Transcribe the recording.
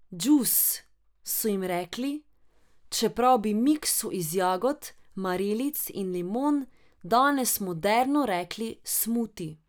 Džus, so jim rekli, čeprav bi miksu iz jagod, marelic in limon danes moderno rekli smuti.